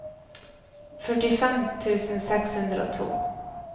førtifem tusen seks hundre og to